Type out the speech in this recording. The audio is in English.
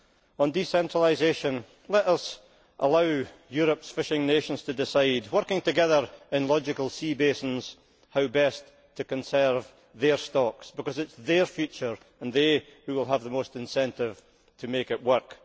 On decentralisation, let us allow Europe's fishing nations to decide, working together in logical sea basins, how best to conserve their stocks, because it is their future and they who will have the most incentive to make it work.